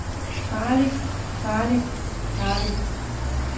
farligt farligt farligt